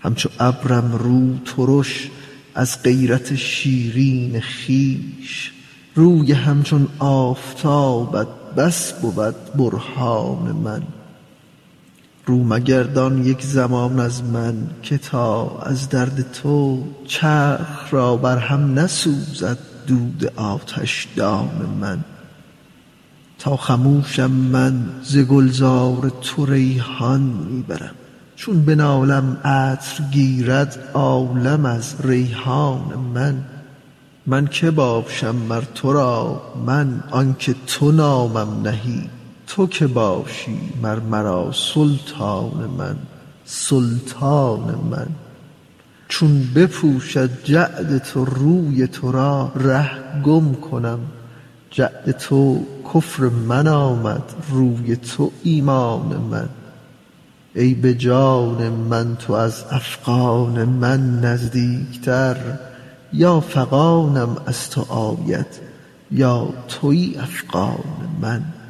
همچو ابرم روترش از غیرت شیرین خویش روی همچون آفتابت بس بود برهان من رو مگردان یک زمان از من که تا از درد تو چرخ را بر هم نسوزد دود آتشدان من تا خموشم من ز گلزار تو ریحان می برم چون بنالم عطر گیرد عالم از ریحان من من که باشم مر تو را من آنک تو نامم نهی تو کی باشی مر مرا سلطان من سلطان من چون بپوشد جعد تو روی تو را ره گم کنم جعد تو کفر من آمد روی تو ایمان من ای به جان من تو از افغان من نزدیکتر یا فغانم از تو آید یا توی افغان من